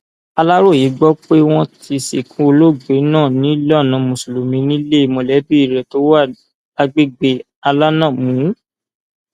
aláròye gbọ pé wọn ti sìnkú olóògbé náà nílànà mùsùlùmí nílé mọlẹbí rẹ tó wà lágbègbè alanàmù